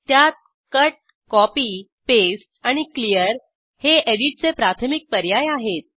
त्यात cut copy paste आणि clear हे एडिटचे प्राथमिक पर्याय आहेत